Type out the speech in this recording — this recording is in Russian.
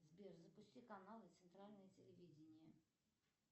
сбер запусти канал центральное телевидение